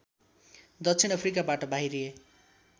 दक्षिण अफ्रिकाबाट बाहिरिए